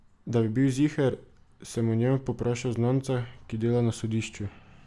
Da bi bil ziher, sem o njem povprašal znanca, ki dela na sodišču.